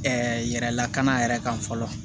yɛrɛlakana yɛrɛ kan fɔlɔ